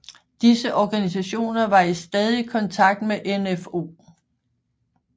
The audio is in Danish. Disse organisationer var i stadig kontakt med NfO